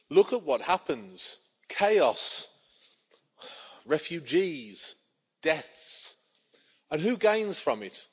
Look at what happens chaos, refugees, deaths. And who gains from it?